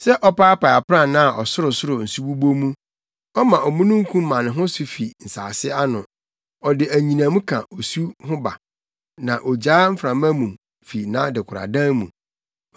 Sɛ ɔpaapae aprannaa a ɔsorosoro nsu bobɔ mu; ɔma omununkum ma ne ho so fi nsase ano. Ɔde anyinam ka osu ho ba, na ogyaa mframa mu fi nʼadekoradan mu.